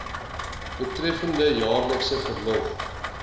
betreffende jaarlikse verlof